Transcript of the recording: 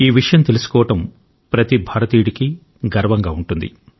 ఈ విషయం తెలుసుకోవడం ప్రతి భారతీయుడికి గర్వంగా ఉంటుంది